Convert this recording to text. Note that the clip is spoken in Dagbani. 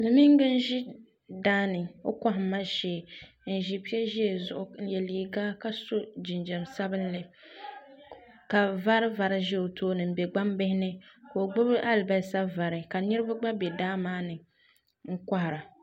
Silimiinga n-ʒi daa ni o kɔhimma shee n-ʒi pe ʒee zuɣu n-ye liiga ka so jinjam sabinli ka vari vari ʒe o tooni m-be gbambihi ni ka o gbubi alibasa vari ka niriba gba be daa maa ni n-kɔhira.